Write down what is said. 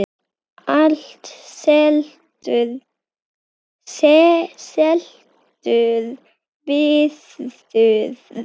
Allt seldur viður.